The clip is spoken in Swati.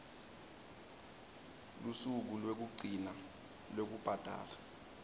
lusuku lwekugcina lwekubhadala